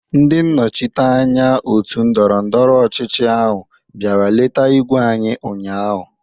Ndị nnọchiteanya òtù ndọrọ ndọrọ ọchịchị ahụ bịara leta ígwé anyị ụnyahụ.